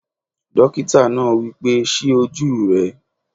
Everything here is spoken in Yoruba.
Dókítà náà wí pé "ṣí ojú rẹ!"